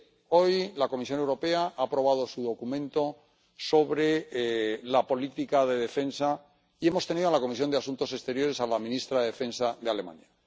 Hoy la Comisión Europea ha aprobado su documento sobre la política de defensa y hemos tenido en la Comisión de Asuntos Exteriores a la ministra de Defensa de Alemania.